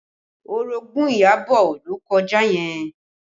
Orogun Iyabọ̀ ló kọjá yẹn